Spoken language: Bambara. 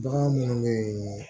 Bagan munnu be ye